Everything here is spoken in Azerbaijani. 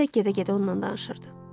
Özü də gedə-gedə ondan danışırdı.